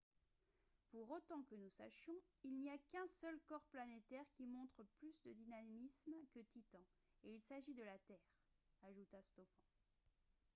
pour autant que nous sachions il n’y a qu’un seul corps planétaire qui montre plus de dynamisme que titan et il s’agit de la terre » ajouta stofan